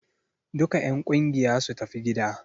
Duka en ƙungiya su tafi gida!